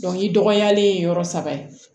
i dɔgɔyalen ye yɔrɔ saba ye